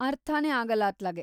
ಅರ್ಥನೇ ಆಗಲ್ಲ ಅತ್ಲಾಗೆ.